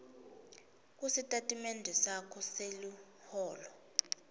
kusitatimende sakho seliholo